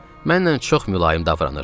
Mənlə çox mülayim davranırdı.